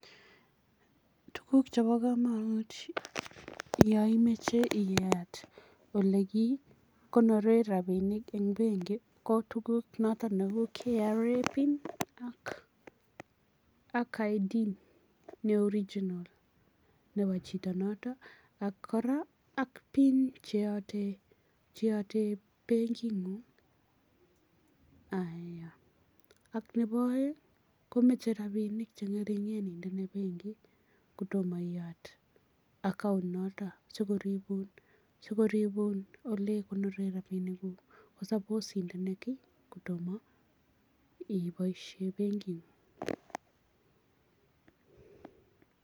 Tukuk chebo kamonut yoimoche iyat olekikonoren rabinik en benki ko tukuk choton nebo KRA pin ak ID ne original nebo chito noto ak kora ak pin cheote benking'ung, aya ak nebo oeng' komoche rabinik cheng'ering'en inde benkit kotomoiyat account noto sikoribun olekonoren rabinikuk ko sapos inde kotomo iboishen benking'un.